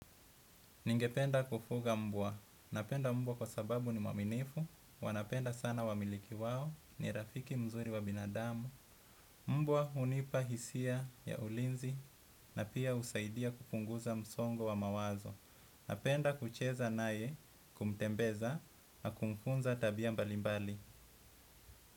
Ningependa kufuga mbwa. Napenda mbwa kwa sababu nimwaminifu. Wanapenda sana wamiliki wao ni rafiki mzuri wa binadamu. Mbwa unipa hisia ya ulinzi na pia usaidia kupunguza msongo wa mawazo. Napenda kucheza naye kumtembeza na kumfunza tabia mbalimbali.